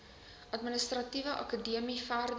administratiewe akademie verdere